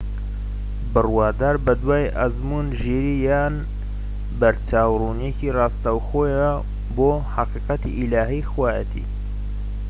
بڕوادار بە دوای ئەزموون، ژیری یان بەرچاوڕوونیەکی ڕاستەوخۆیە بۆ حەقیقەتی ئیلاهی/خوایەتی